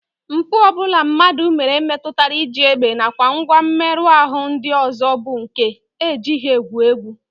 Mpụ ọ bụla mmadụ mere metụtara iji egbe nakwa ngwa mmerụ ahụ ndị ọzọ bụ nke e jighị egwu egwu